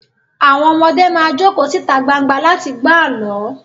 Àwọn ọmọdé máa jókòó síta gbangba láti gbọ́ àlọ́